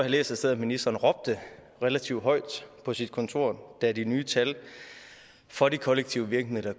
læst et sted at ministeren råbte relativt højt på sit kontor da de nye tal for de kollektive virkemidler